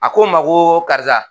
A ko n ma ko karisa